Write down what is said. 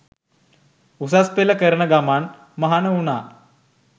උසස් පෙළ කරන ගමන් මහණ වුණා.